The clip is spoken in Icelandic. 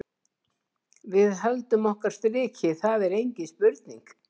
Við höldum okkar striki, það er engin spurning.